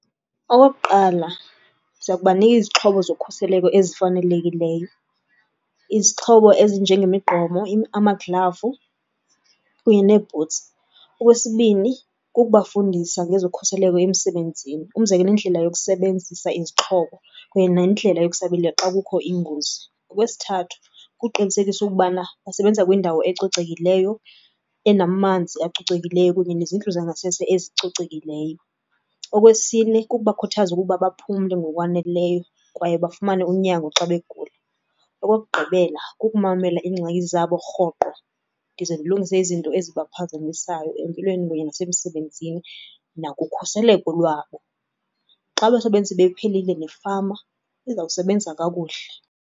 Okokuqala, siya kubanika izixhobo zokhuseleko ezifanelekileyo. Izixhobo ezinjengemigqomo, amaglavu kunye neebhutsi. Okwesibini kukubafundisa ngezokhuseleko emsebenzini, umzekelo indlela yokusebenzisa izixhobo kunye nendlela yokusabela xa kukho ingozi. Okwesithathu kuqinisekisa ukubana basebenza kwindawo ecocekileyo, enamanzi acocekileyo kunye nezindlu zangasese ezicocekileyo. Okwesine kukubakhuthaza ukuba baphumle ngokwaneleyo kwaye bafumane unyango xa begula. Okokugqibela kukumamela iingxaki zabo rhoqo ndize ndilungise izinto ezibaphazamisayo empilweni kunye nasemsebenzini nakukhuseleko lwabo. Xa abasebenzi bephilile, nefama izawusebenzisa kakuhle.